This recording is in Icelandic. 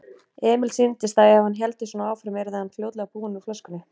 Emil sýndist að ef hann héldi svona áfram yrði hann fljótlega búinn úr flöskunni.